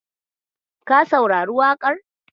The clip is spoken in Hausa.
Ka saurari waƙar?